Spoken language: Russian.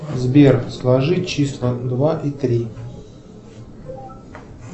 сбер сложи числа два и три